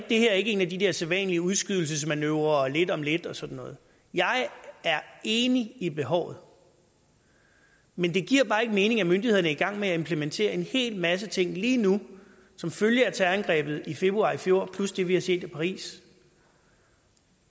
det her ikke en af de der sædvanlige udskydelsesmanøvrer og lige om lidt og sådan noget jeg er enig i behovet men det giver bare ikke mening at myndighederne er i gang med at implementere en hel masse ting lige nu som følge af terrorangrebet i februar i fjor plus det vi har set i paris